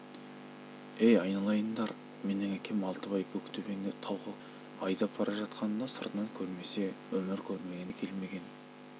ей айналайындар менің әкем алтыбай көктөбеңді тауға көшіп қой айдап бара жатқанында сыртынан көрмесе өмірі көрмеген де келмеген